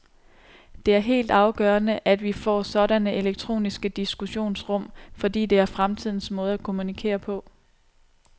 Det er helt afgørende, at vi får sådanne elektroniske diskussionsrum, fordi det er fremtidens måde at kommunikere på.